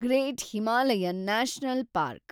great Himalayan national park